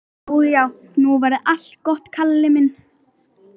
Já, já, nú verður allt gott, Kalli minn.